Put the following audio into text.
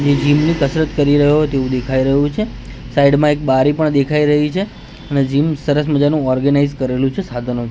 ને જીમ ની કસરત કરી રહ્યો તેવુ દેખાય રહ્યુ છે સાઇડ મા એક બારી પણ દેખાય રહી છે અને જીમ સરસ મજાનુ ઓર્ગેનાઇઝ કરેલુ છે સાધનો--